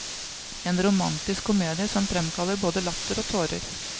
En romantisk komedie som fremkaller både latter og tårer.